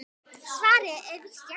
Svarið er víst já.